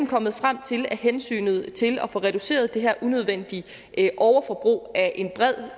kommet frem til at hensynet til at få reduceret det her unødvendige overforbrug af